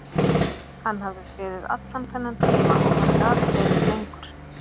Hann hafði beðið allan þennan tíma og hann gat beðið lengur.